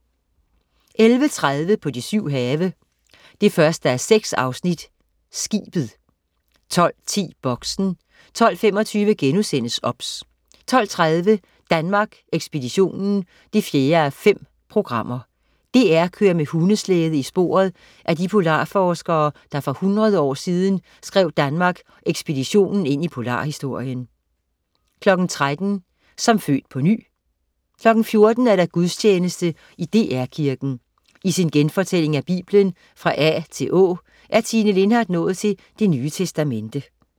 11.30 På de syv have. 1:6 Skibet 12.10 Boxen 12.25 OBS* 12.30 Danmark Ekspeditionen 4:5. DR kører med hundeslæde i sporet af de polarforskere, der for 100 år siden skrev Danmark Ekspeditionen ind i polarhistorien 13.00 Som født på ny 14.00 Gudstjeneste i DR Kirken. I sin genfortælling af Bibelen fra A til Å er Tine Lindhardt nået til Det Nye Testamente